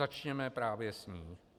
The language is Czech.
Začněme právě s ní.